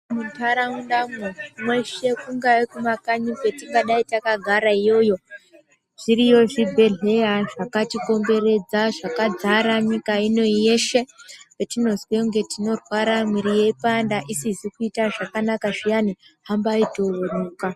Munharaundamwo mweshe kungaye kumakanyi kwetingadai takagara iyoyo, zviriyo zvibhedhleya zvakati komberedza zvakadzara nyika inoyi yeshe. Patinozwe kunge tinorwara muiri yeipanda isizi kuita zvakanaka zviyani hambai toonekwa.